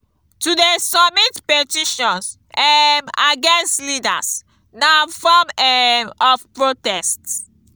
to de submit petitions um against leaders na form um of protest